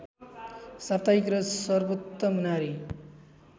साप्ताहिक र सर्वोत्तम नारी